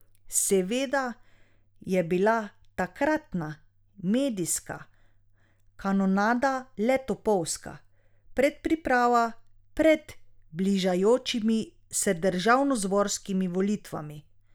Seveda je bila takratna medijska kanonada le topovska predpriprava pred bližajočimi se državnozborskimi volitvami.